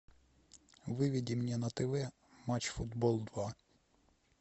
выведи мне на тв матч футбол два